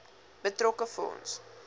betrokke fonds